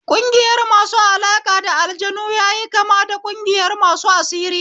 Ƙungiyar masu alaƙa da aljanu yayi kama da ƙungiyar masu asiri